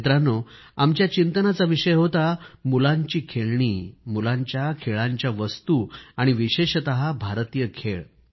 मित्रांनो आमच्या चिंतनाचा विषय होता मुलांची खेळणी मुलांच्या खेळांच्या वस्तू आणि विशेषतः भारतीय खेळ